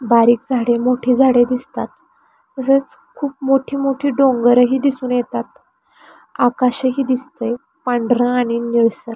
बारीक झाडे मोठी झाडे दिसतात तसेच खूप खूप मोठी मोठी डोंगरही दिसून येतात आकाशही दिसतंय पांढर आणि निळसर.